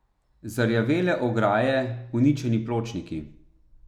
Zarjavele ograje, uničeni pločniki.